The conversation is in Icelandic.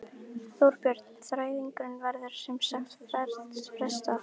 Þorbjörn: Þræðingum verður sem sagt frestað?